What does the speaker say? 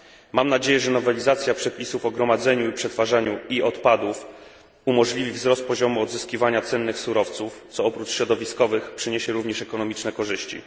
Mam nadzieję, że nowelizacja przepisów o gromadzeniu i przetwarzaniu e odpadów umożliwi wzrost poziomu odzyskiwania cennych surowców, co oprócz środowiskowych przyniesie również ekonomiczne korzyści.